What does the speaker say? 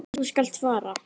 Þú skalt fara.